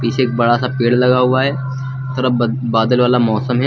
पीछे एक बड़ा सा पेड़ लगा हुआ है। थोड़ा ब बादल वाला मौसम है।